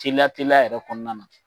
Teliya teliya yɛrɛ kɔnɔna na.